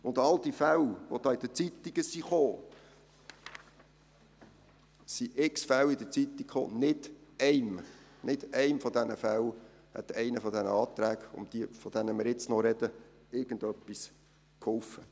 Nicht einem der Fälle, die in den Zeitungen kamen – es kamen unzählige Fälle in der Zeitung –, hätte einer der Anträge, über die wir jetzt noch sprechen, irgendetwas geholfen.